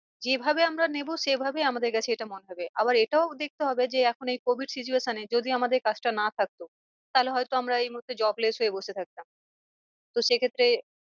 যে ভাবে আমরা নেবো সে ভাবে আমাদের কাছে এটা মনে হবে। আবার এটাও দেখতে হবে যে এখন এই covid situation এ যদি আমাদের কাজটা না থাকতো তাহলে হয় তো আমরা এই মুহূর্তে jobless হয়ে বসে থাকতাম তো সে ক্ষেত্রে